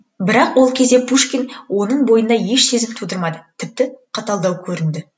бірақ ол кезде пушкин оның бойында еш сезім тудырмады тіпті қаталдау көрінді